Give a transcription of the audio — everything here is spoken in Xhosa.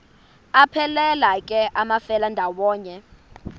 aphelela ke amafelandawonye